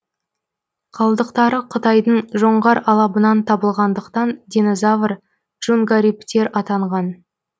қалдықтары қытайдың жоңғар алабынан табылғандықтан динозавр джунгариптер атанған